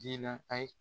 Diinɛ ayi